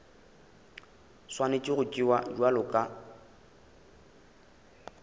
swanetše go tšewa bjalo ka